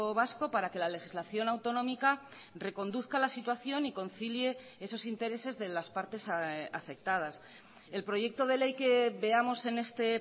vasco para que la legislación autonómica reconduzca la situación y concilie esos intereses de las partes afectadas el proyecto de ley que veamos en este